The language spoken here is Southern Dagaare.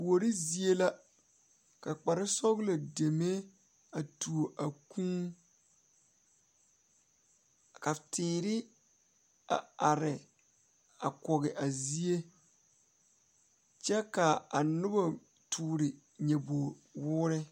Kuori zie la ka kparesɔglɔ deme a tuo a Kūū ka teere a are a kɔge a zie kyɛ k,a noba toore nyɔbogwoore.